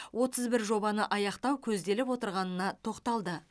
отыз бір жобаны аяқтау көзделіп отырғанына тоқталды